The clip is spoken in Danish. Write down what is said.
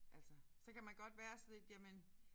Altså så kan man godt være sådan lidt jamen